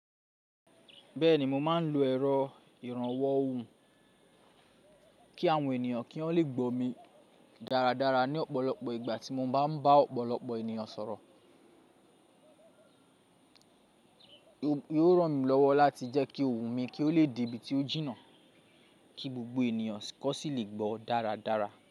Bẹ́ẹ̀ni mo máa ń lo ẹ̀rọ ìrànwọ́ ohùn kí àwọn ènìyàn kí wọ́n lè gbọ́ mi dáradára ní ọ̀pọ̀lọpọ̀ ìgbà tí mo bá ń bá ọ̀pọ̀lọpọ̀ ènìyàn sọ̀rọ̀. Ó rọ̀ mí lọ́wọ́ láti jẹ́ kí ohùn mi kí ó lè de ibi tí ó jìnnà kí gbogbo ènìyàn kọ́ sì lè gbọ́ dáradára.